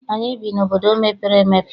Anyị bi n'obodo mepere emepe.